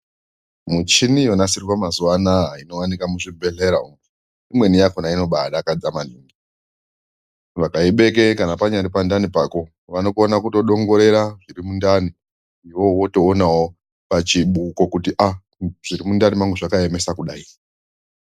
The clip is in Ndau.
Muchini yonasirwa mazuwa anaa inowanikwa muzvibhedhlera umwo , imweni yakona inobaadakadza maningi .Vakaibeke kana panyaripandani pako vanokona kutodongorera zviri mundani iwewe wotoonawo pachibuko kuti aah zvirimundani mangu zvakaemese kudayi .